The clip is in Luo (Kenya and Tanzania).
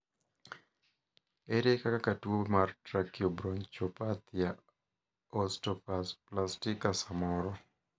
ere kaka tuo mar trakiobronchopathia osteoplastika samoro